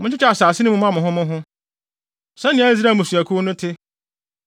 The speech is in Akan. “Monkyekyɛ asase yi mma mo ho mo ho, sɛnea Israel mmusuakuw no te.